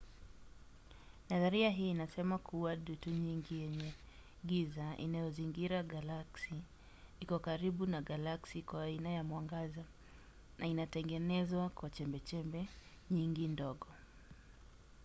nadharia hii inasema kuwa dutu nyingi yenye giza inayozingira galaksi iko karibu na galaksi kwa aina ya mwangaza na inatengenezwa kwa chembechembe nyingi ndogo